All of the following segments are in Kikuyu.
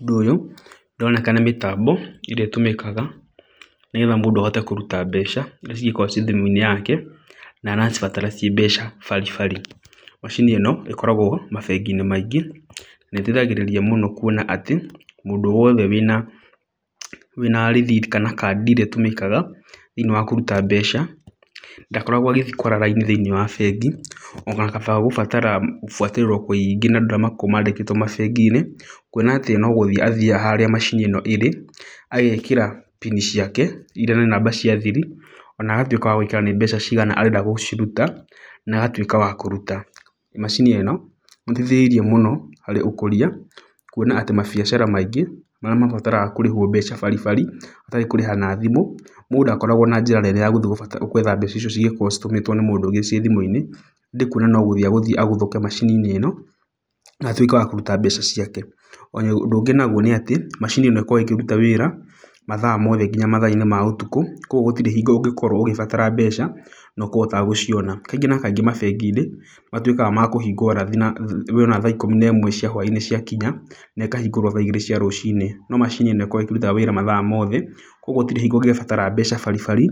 Ũndũ ũyũ ũroneka nĩ mĩtambo ĩrĩa ĩtũmikaga nĩgetha mũndũ ahote kũruta mbeca irĩa cingĩkorwo ciĩ thimũ-inĩ yake na aracibatara ciĩ mbeca baribari. Macini ĩno ĩkoragwo mabengi-inĩ maingĩ na ĩteithagĩrĩria mũno kuona atĩ mũndũ wothe wĩma rĩthiti kana kandi ĩrĩa ĩtũmĩkaga thĩiniĩ wa kũruta mbeca, ndakoragwo agĩthiĩ kwara raini thĩiniĩ wa bengi gũbatara gũbuatĩrĩrwo kũingĩ nĩ andũ arĩa makoragwo maandĩkĩtwo mabengi-inĩ. Kuona atĩ no no gũthiĩ athiaga harĩa macini ĩno ĩrĩ, agekĩra PIN ciake irĩa nĩ namba cia thiri, ona agatuĩka wa gwĩkĩra nĩ mbeca cigana arenda gũciruta, na agatuĩka wa kũruta. Macini ĩno nĩ ĩteithĩrĩirie mũno harĩ ũkũria, kuona atĩ mabiacara maingĩ marĩa mabataraga kũrĩhwo mbeca baribari, hatarĩ kũrĩha na thimũ, mũndũ ndakoragwo na njĩra nene ya guthii gwetha mbeca icio cingĩkorwo citũmĩtwo nĩ mũndũ ũngĩ ciĩ thimũ-inĩ, ĩndĩ kuona no gũthiĩ egũthiĩ aguthũke macini-inĩ ĩno na atuĩke wa kũruta mbeca ciake. Ũndũ ũngĩ naguo nĩ atĩ macini ĩno ĩkoragwo ĩkĩruta wĩra mathaa mothe nginya mathaa-inĩ ma ũtukũ. Koguo gũtirĩ hingo ũngĩkorwo ũgĩbatara mbeca na ũkorwo ũtagũciona. Kaingĩ na kaingĩ mabengi-inĩ nĩ matuĩkaga kũhingwo ũrathi na we ona thaa ikũmi na ĩmwe cia hwainĩ ciakinya, na ĩkahingũrwo tha igĩrĩ cia rũcinĩ. No macini ĩno ĩkoragwo ĩkĩruta wĩra mathaa mothe. Koguo hatirĩ hingo ũngĩbatara mbeca baribari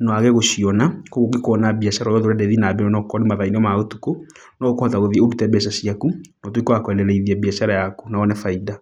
na waage gũciona. Koguo ũngĩkorwo na biacara o yothe ũrenda ĩthiĩ na mbere ona okorwo nĩ mathaa-inĩ ma ũtukũ, no ũkũhota gũthiĩ ũrute mbeca ciaku, na ũtuĩke wa kuendeleza biacara yaku na wone baita.